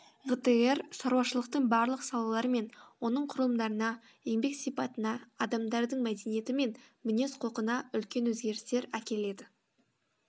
ғтр шаруашылықтың барлық салалары мен оның құрылымдарына еңбек сипатына адамдардың мәдениеті мен мінез құлқына үлкен өзгерістер әкеледі